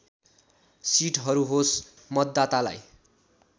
सीटहरू होस् मतदातालाई